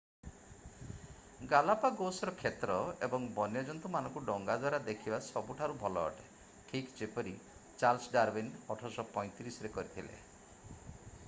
ଗାଲାପାଗୋସର କ୍ଷେତ୍ର ଏବଂ ବନ୍ୟଜନ୍ତୁ ମାନଙ୍କୁ ଡଙ୍ଗା ଦ୍ଵାରା ଦେଖିବା ସବୁଠାରୁ ଭଲ ଅଟେ ଠିକ୍ ଯେପରି ଚାର୍ଲ୍ସ ଡାରୱିନ୍ 1835 ରେ କରିଥିଲେ